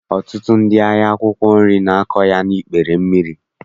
Ọtụtụ ndị ahịa akwụkwọ nri na-akọ ya n'ikpere mmiri